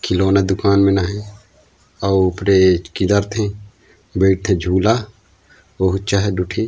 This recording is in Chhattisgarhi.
खिलौना दुकान में ना हे अऊ ब्रेज किधर थे बैठथे झूला ओह उच्चा हे दु ठी--